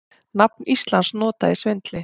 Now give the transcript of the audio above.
Nafn Íslands notað í svindli